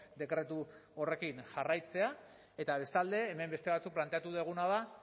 dekretu horrekin jarraitzea eta bestalde hemen beste batzuek planteatu duguna da